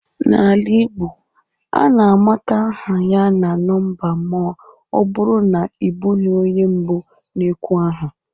N'ala Igbo, a na-amata aha ya na nọmba ma ọ bụrụ na ị bụghị onye mbụ na-ekwu aha